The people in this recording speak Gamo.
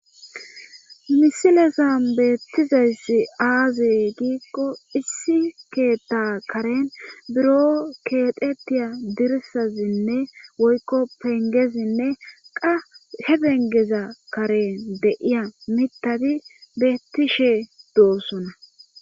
misilezan beettizayssi aazey giikko issi keetta karen buro keetetiya dirisazinne woykko pengezinne qa he bengeza karen deiya mittadi beettishe doosona